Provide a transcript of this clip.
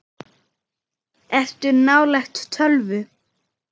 Ertu nálægt tölvu?